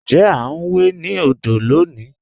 Ǹjẹ̀ a n wè ni òdò lọ́ní?